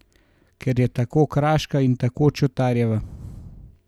Ker je tako kraška in tako Čotarjeva!